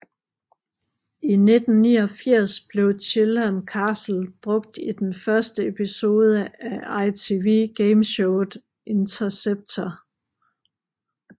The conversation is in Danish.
I 1989 blev Chilham Castle brugt i den første episode af ITV gameshowet Interceptor